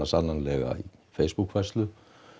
sannanlega í Facebook færslu